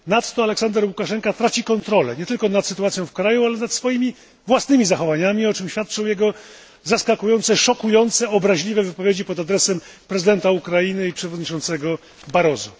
Ponadto Aleksander Łukaszenka traci kontrolę, nie tylko nad sytuacją w kraju, ale nad swoimi własnymi zachowaniami, o czym świadczą jego zaskakujące, szokujące, obraźliwe wypowiedzi pod adresem prezydenta Ukrainy i przewodniczącego Barroso.